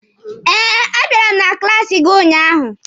Eh, a bịara m na klaasi gị ụnyaahụ.